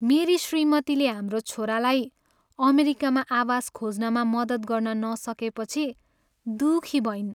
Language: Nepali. मेरी श्रीमतीले हाम्रो छोरालाई अमेरिकामा आवास खोज्नमा मद्दत गर्न नसकेपछि दुखी भइन्।